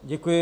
Děkuji.